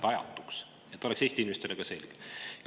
et see oleks Eesti inimestele ka selge.